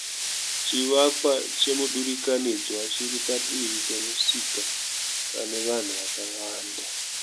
Chivakwa chemudurikanidzwa chiri padivi pe musika pane vanhu vakawanda.